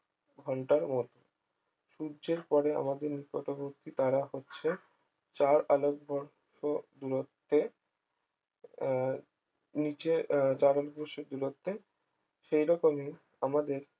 ঘন্টার মধ্যে সূর্য্যের পরে আমাদের নিকটবর্তী তারা হচ্ছে চার আলোকবর্ষ দূরত্বে আহ নিজের আহ জারণ বস্তুর দূরত্বে সেই রকমই আমাদের